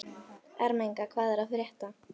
Ermenga, hvað er að frétta?